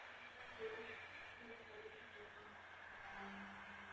କି ଆପଣଙ୍କ post ଯଉଟା କରୁଛନ୍ତି ଆପଣ ଅ